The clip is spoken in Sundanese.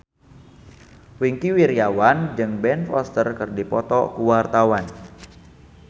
Wingky Wiryawan jeung Ben Foster keur dipoto ku wartawan